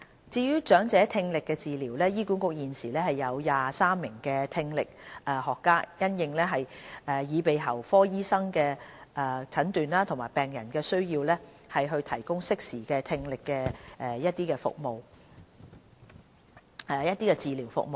至於長者聽力治療，醫管局現時共有23名聽力學家，因應耳鼻喉科醫生的診斷和病人的需要，提供適時的聽力測試和治療服務。